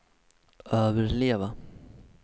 överleva